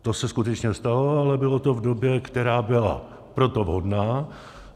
To se skutečně stalo, ale bylo to v době, která byla pro to vhodná.